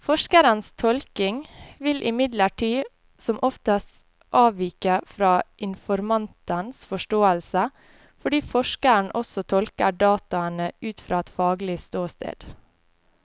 Forskerens tolkning vil imidlertid som oftest avvike fra informantens forståelse, fordi forskeren også tolker dataene ut fra et faglig ståsted.